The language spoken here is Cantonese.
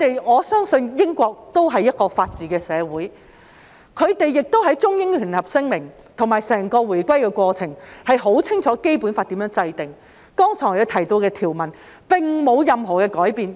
我相信英國是一個法治社會，而在《中英聯合聲明》及整個回歸過程中，他們清楚知道《基本法》如何制定，剛才提到的條文並沒有改變。